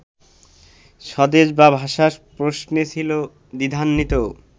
স্বদেশ বা ভাষার প্রশ্নে ছিল দ্বিধান্বিত